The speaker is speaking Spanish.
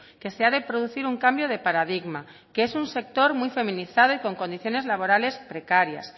que se ha de producir un cambio de paradigma que es un sector muy feminizado y con condiciones laborales precarias